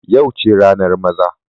Yau ce ranar maza.